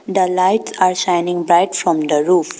The light are shining bright from the roof.